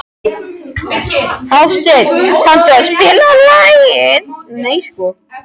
Hásteinn, kanntu að spila lagið „Nei sko“?